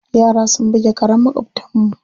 Yara sun buge karen maƙwabtanmu.